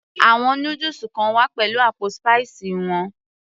àwọn noodles kan wá pẹ̀lú àpò spicy wọn